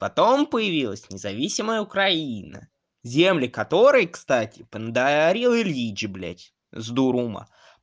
потом появилась независимая украина земли которой кстати подарил ильич блядь с дуру ума